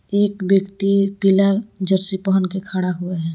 एक व्यक्ति पीला जर्सी पहन के खड़ा हुआ है।